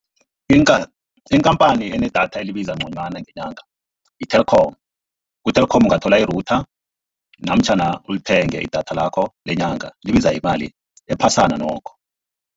Ikampani enedatha elibiza nconywana nginaka i-Telkom, ku-Telkom ungathola i-router namtjhana ulithenge idatha lakho lenyanga libiza imali ephasana nokho.